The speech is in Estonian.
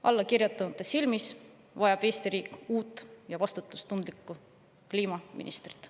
Allakirjutanute arvates vajab Eesti riik uut ja vastutustundlikku kliimaministrit.